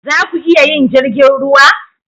Za ku iya yin jirgin ruwa?